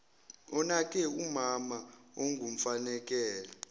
onake umama ongumfakela